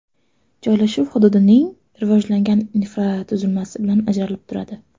Joylashuv hududning rivojlangan infratuzilmasi bilan ajralib turadi.